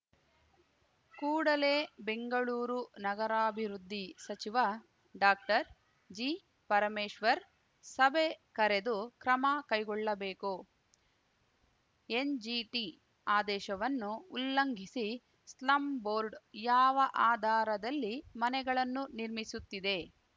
ಕೂಡಲೇ ಬೆಂಗಳೂರು ನಗರಾಭಿವೃದ್ಧಿ ಸಚಿವ ಡಾಕ್ಟರ್ಜಿಪರಮೇಶ್ವರ್‌ ಸಭೆ ಕರೆದು ಕ್ರಮ ಕೈಗೊಳ್ಳಬೇಕು ಎನ್‌ಜಿಟಿ ಆದೇಶವನ್ನು ಉಲ್ಲಂಘಿಸಿ ಸ್ಲಂ ಬೋರ್ಡ್‌ ಯಾವ ಆಧಾರದಲ್ಲಿ ಮನೆಗಳನ್ನು ನಿರ್ಮಿಸುತ್ತಿದೆ